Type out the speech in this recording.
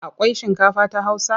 Akwai shinkafa ta Hausa?